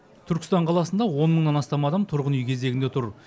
түркістан қаласында он мыңнан астам адам тұрғын үй кезегінде тұр